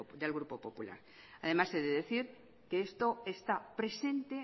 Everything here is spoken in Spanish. del grupo popular además he de decir que esto está presente